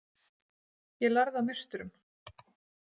Ég lærði af meisturum.